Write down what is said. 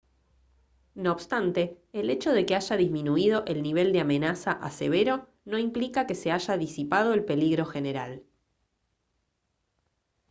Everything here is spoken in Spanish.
no obstante el hecho de que haya disminuido el nivel de amenaza a severo no implica que se haya disipado el peligro general»